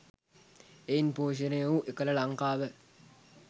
එයින් පෝෂණය වූ එකල ලංකාව